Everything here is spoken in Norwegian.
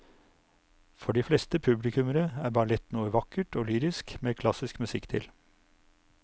For de fleste publikummere er ballett noe vakkert og lyrisk med klassisk musikk til.